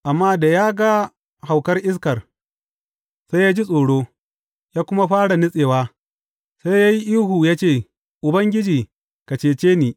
Amma da ya ga haukar iskar, sai ya ji tsoro, ya kuma fara nutsewa, sai ya yi ihu ya ce, Ubangiji, ka cece ni!